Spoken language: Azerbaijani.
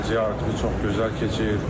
Ziyarətimiz çox gözəl keçir.